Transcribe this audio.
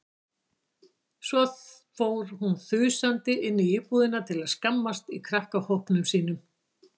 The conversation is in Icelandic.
Svo fór hún þusandi inn í íbúðina til að skammast í krakkahópnum sínum.